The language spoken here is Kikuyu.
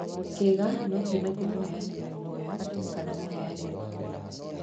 Kĩga no kiume kuma mũheani wĩ thayũ kana mũheani mũkuo.